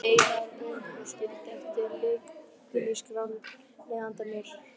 Einar upp og skildi eftir lykil í skránni handa mér.